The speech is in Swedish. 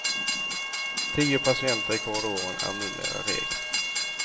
Tio patienter i korridoren är numera regel.